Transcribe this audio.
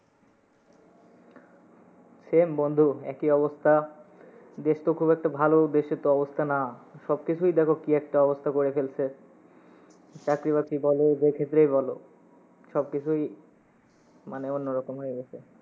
Same বন্ধু, একই অবস্থা দেশ তো খুব একটা ভালো, দেশের তো অবস্থা না। সব কিসুই দেখো কি একটা অবস্থা করে ফেলসে। চাকরি বাকরিই বলো যে ক্ষেত্রেই বলো সবকিছুই মানে অন্য রকম হয়ে গেসে।